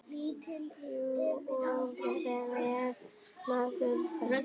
Jú og hvað með það!